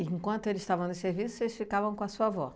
enquanto eles estavam no serviço, vocês ficavam com a sua avó?